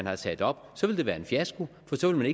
er sat op så ville det være en fiasko for så ville